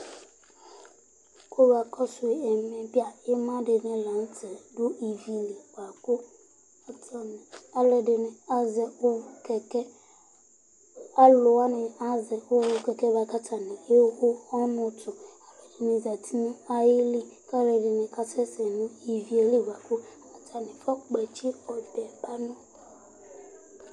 Ima dìní la ntɛ adu ívì li bʋakʋ, atani alʋɛdìní azɛ kɛkɛ Alu wani azɛ kɛkɛ bʋakʋ atani ɛwu ɔnʋ tu Alʋɛdìní zɛti ayìlí kʋ alʋɛdìní kasɛsɛ nʋ ívì ye li bʋakʋ atani fɔ kpɔtsi ɔbɛ ba nʋ